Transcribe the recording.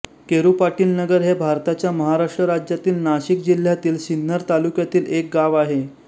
केरुपाटीलनगर हे भारताच्या महाराष्ट्र राज्यातील नाशिक जिल्ह्यातील सिन्नर तालुक्यातील एक गाव आहे